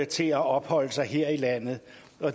til at opholde sig her i landet